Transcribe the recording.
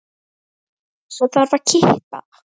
Svo þarf að kippa.